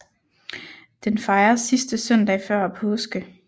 Den fejres sidste søndag før påske